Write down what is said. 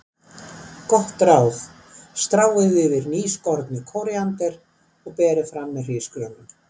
Gott ráð: Stráið yfir nýskornu kóríander og berið fram með hrísgrjónum.